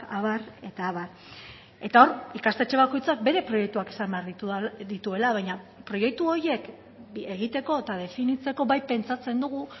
abar eta abar eta hor ikastetxe bakoitzak bere proiektuak izan behar dituela baina proiektu horiek egiteko eta definitzeko bai pentsatzen dugu